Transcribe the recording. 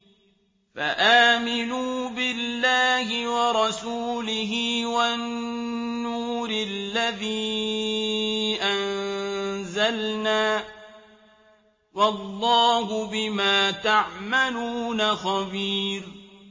فَآمِنُوا بِاللَّهِ وَرَسُولِهِ وَالنُّورِ الَّذِي أَنزَلْنَا ۚ وَاللَّهُ بِمَا تَعْمَلُونَ خَبِيرٌ